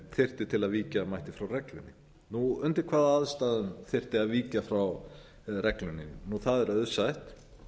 þyrfti til að víkja mætti frá reglunni undir hvaða aðstæðum þyrfti að víkja frá reglunni það er auðsætt